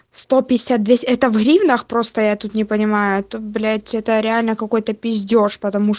это в гривнах просто я тут не понимаю то блять это реально какой-то пиздеж